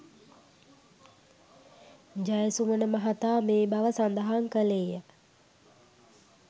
ජයසුමන මහතා මේ බව සදහන් කළේය.